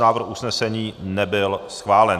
Návrh usnesení nebyl schválen.